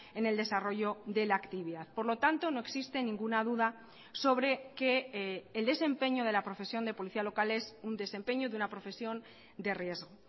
en el desarrollo de la actividad por lo tanto no existe ninguna duda sobre que el desempeño de la profesión de policía local es un desempeño de una profesión de riesgo